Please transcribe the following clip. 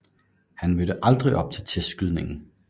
Han mødte aldrig op til testskydningen